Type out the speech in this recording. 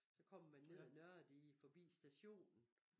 Så kommer man ned ad nørre dige forbi stationen